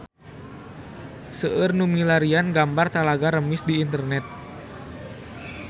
Seueur nu milarian gambar Talaga Remis di internet